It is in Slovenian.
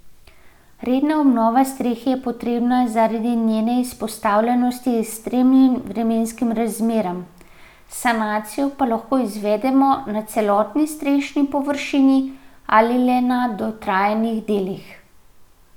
Redna obnova strehe je potrebna zaradi njene izpostavljenosti ekstremnim vremenskim razmeram, sanacijo pa lahko izvedemo na celotni strešni površini ali le na dotrajanih delih.